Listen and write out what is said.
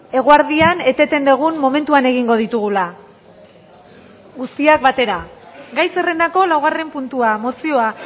eguerdian eteten dugun momentuan egingo ditugula guztiak batera gai zerrendako laugarren puntua mozioa